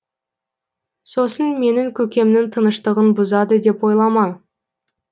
сосын менің көкемнің тыныштығын бұзады деп ойлама